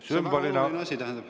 See on väga oluline.